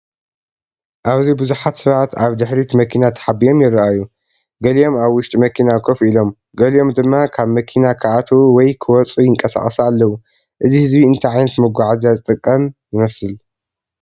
ኣብዚ ቡዝሓት ሰባት ኣብ ድሕሪት መኪና ተሓቢኦም ይረኣዩ። ገሊኦም ኣብ ውሽጢ መኪና ኮፍ ኢሎም፡ ገሊኦም ድማ ካብ መኪና ክኣትዉ ወይ ክወጹ ይንቀሳቐሱ ኣለዉ። እዚ ህዝቢ እንታይ ዓይነት መጓዓዝያ ዝጥቀም ይመስል?